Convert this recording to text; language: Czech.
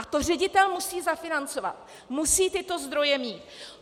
A to ředitel musí zafinancovat, musí tyto zdroje mít.